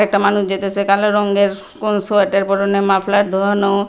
একটা মানুষ যাইতাসে কালো রঙ্গের কোন সোয়েটার পরনে মাফলার ধোয়ানো।